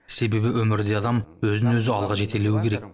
себебі өмірде адам өзін өзі алға жетелеуі керек